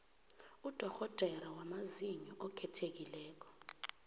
udorhodere wamazinyo okhethekileko